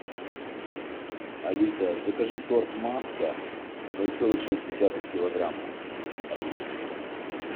алиса закажи торт маска ноль целых шесть десятых килограмма одна штука